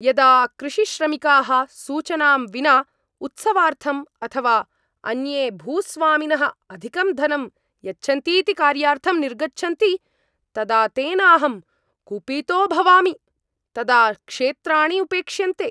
यदा कृषिश्रमिकाः सूचनां विना उत्सवार्थम् अथवा अन्ये भूस्वामिनः अधिकं धनं यच्छन्तीति कार्यार्थं निर्गच्छन्ति, तदा तेनाहं कुपितो भवामि। तदा क्षेत्राणि उपेक्ष्यन्ते।